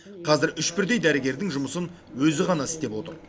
қазір үш бірдей дәрігердің жұмысын өзі ғана істеп отыр